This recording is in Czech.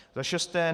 Za šesté.